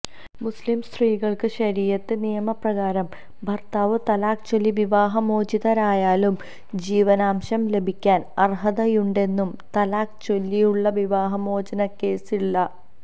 മുസ്ലിം സ്ത്രീകള്ക്ക് ശരീയത്ത് നിയമ പ്രകാരം ഭര്ത്താവ് തലാക്ക് ചൊല്ലി വിവാഹമോചിതരായാലും ജീവനാംശം ലഭിക്കാന് അര്ഹതയുണ്ടെന്നും തലാക്ക് ചൊല്ലിയുള്ള വിവാഹമോചനക്കേസുകളില്